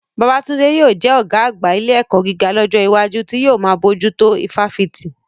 Babatunde yóò jẹ́ ọ̀gá àgbà ilé ẹ̀kọ́ gíga lọ́jọ́ iwájú, tí yóò máa bójú tó ifáfitì.